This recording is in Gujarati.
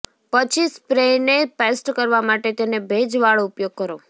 પછી સ્પ્રેને પેસ્ટ કરવા માટે તેને ભેજવાળો ઉપયોગ કરો